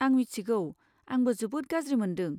आं मिथिगौ! आंबो जोबोद गाज्रि मोनदों।